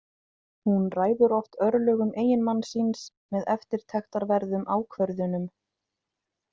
Hún ræður oft örlögum eiginmanns síns með eftirtektarverðum ákvörðunum.